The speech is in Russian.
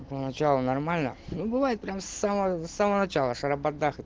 по началу нормально ну бывает прямо с самого самого начала шарабадах